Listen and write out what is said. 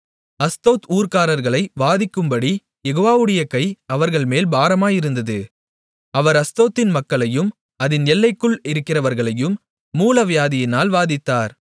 Ashdod ஊர்க்காரர்களை வாதிக்கும்படி யெகோவாவுடைய கை அவர்கள்மேல் பாரமாயிருந்தது அவர் அஸ்தோத்தின் மக்களையும் அதின் எல்லைகளுக்குள் இருக்கிறவர்களையும் மூலவியாதியினால் வாதித்தார்